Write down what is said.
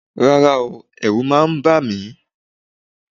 Rárá o, ẹ̀rù máa ń bà mí